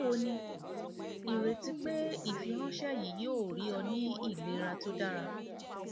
bawo ni ireti pe ifiranṣẹ yii yoo rii ọ ni ilera to dara